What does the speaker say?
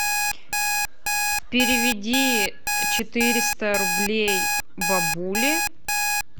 переведи четыреста рублей бабуле